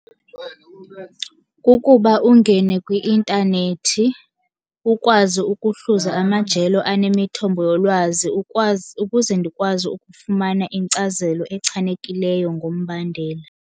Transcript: Kukuba ungene kwi-intanethi ukwazi ukuhluza amajelo anemithombo yolwazi ukwazi, ukuze ndikwazi ukufumana inkcazelo echanekileyo ngombandela.